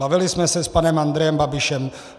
Bavili jsme se s panem Andrejem Babišem.